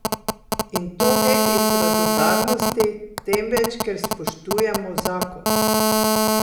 In to ne iz radodarnosti, temveč ker spoštujemo zakon.